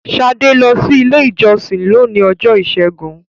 Shade lọ si ilé ìjósìn lóni Ọjọ́ Ìsẹ́gun